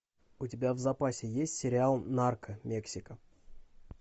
у тебя в запасе есть сериал нарко мексика